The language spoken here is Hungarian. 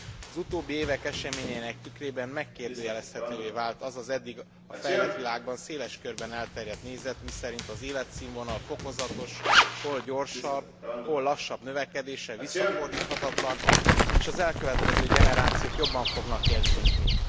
Az utóbbi évek eseményeinek a tükrében megkérdőjelezhetővé vált az az eddig a fejlett világban széles körben elterjedt nézet, miszerint az életszínvonal fokozatos, hol gyorsabb, hol lassabb növekedése visszafordíthatatlan, és az elkövetkező generációk jobban fognak élni, mint mi.